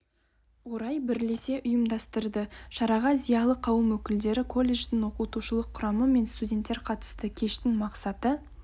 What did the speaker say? орай бірлесе ұйымдастырды шараға зиялы қауым өкілдері колледждің оқытушылық құрамы мен студенттер қатысты кештің мақсаты